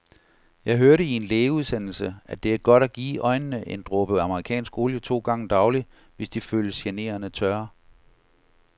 Jeg hørte i en lægeudsendelse, at det er godt at give øjnene en dråbe amerikansk olie to gange daglig, hvis de føles generende tørre.